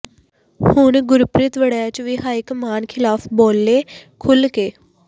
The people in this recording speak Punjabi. ਹੁਣ ਗੁਰਪ੍ਰੀਤ ਵੜੈਚ ਵੀ ਹਾਈਕਮਾਨ ਖਿਲਾਫ਼ ਬੋਲੇ ਖੁੱਲ੍ਹ ਕੇ